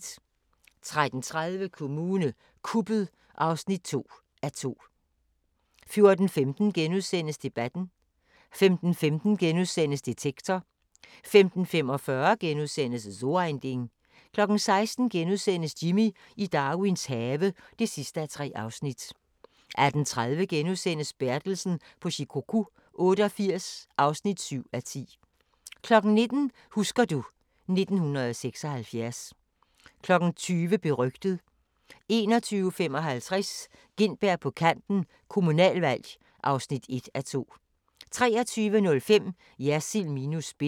13:30: Kommune kuppet (2:2) 14:15: Debatten * 15:15: Detektor * 15:45: So ein Ding * 16:00: Jimmy i Darwins have (3:3)* 18:30: Bertelsen på Shikoku 88 (7:10)* 19:00: Husker du ... 1976 20:00: Berygtet 21:55: Gintberg på Kanten – Kommunalvalg (1:2) 23:05: Jersild minus spin